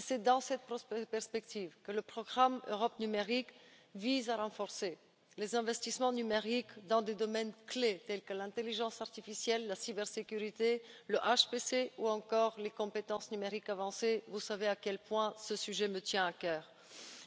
C'est dans cette perspective que le programme Europe numérique vise à renforcer les investissements numériques dans des domaines clés tels que l'intelligence artificielle, la cybersécurité, le calcul à haute performance ou encore les compétences numériques avancées vous savez à quel point ce sujet me tient à cœur.